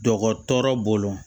Jɔkɔ tɔɔrɔ bolo